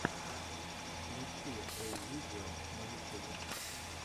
включи эй видео на ютюбе